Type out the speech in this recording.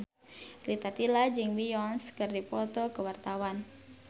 Rita Tila jeung Beyonce keur dipoto ku wartawan